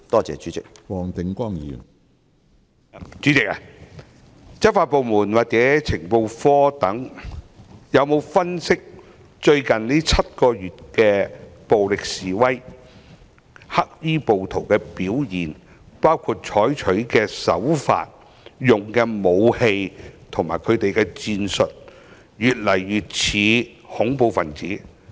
主席，執法部門或情報科等有否分析在最近7個月的暴力示威中，黑衣暴徒的表現，包括他們採取的手法、使用的武器及戰術是否與恐怖分子越來越相似？